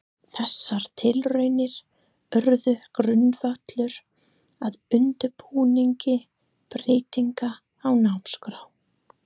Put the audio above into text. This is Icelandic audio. Þessar tilraunir urðu grundvöllur að undirbúningi breytinga á námskrá.